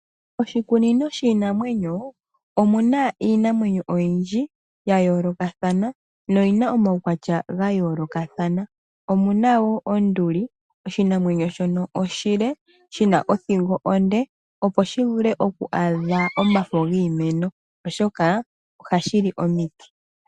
Oshikunino shiinamwenyo omu na iinamwenyo oyindji ya yoolokathana noyi na omaukwatya ga yoolokathana. Omu na wo onduli oshinamwenyo shono oshile shi na othingo onde opo shi vule okwaadha omafo giimeno oshoka ohashi li komiti.